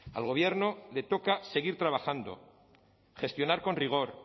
al gobierno le toca seguir trabajando gestionar con rigor